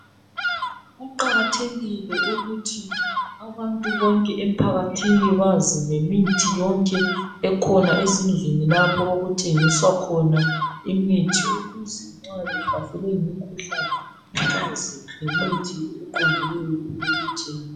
Kuqakathekile ukuthi abantu bonke emphakathini bazi ngemithi yonke ekhona ezindlini lapho okuthengiswa khona imithi ukuze nxa behlaselwe yimikhuhlane bazi ngemithi eqondileyo yokuthenga.